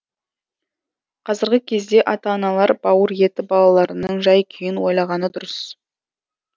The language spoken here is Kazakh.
қазіргі кезде ата аналар бауыр еті балаларының жай күйін ойлағаны дұрыс